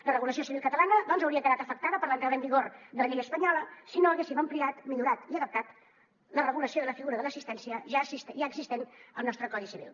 la regulació civil catalana doncs hauria quedat afectada per l’entrada en vigor de la llei espanyola si no haguéssim ampliat millorat i adaptat la regulació de la figura de l’assistència ja existent al nostre codi civil